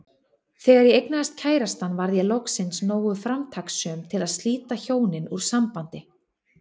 Þegar ég eignaðist kærastann varð ég loksins nógu framtakssöm til að slíta hjónin úr sambandi.